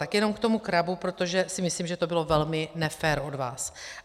Tak jenom k tomu CRABu, protože si myslím, že to bylo velmi nefér od vás.